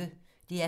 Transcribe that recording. DR P1